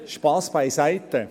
Spass beiseite.